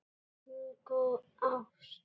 Bingó: ást.